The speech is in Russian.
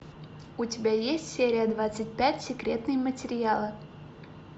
у тебя есть серия двадцать пять секретные материалы